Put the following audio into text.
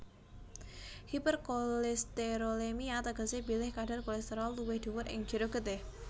Hiperkolesterolemia tegesé bilih kadar kolesterol luwih dhuwur ing jero getih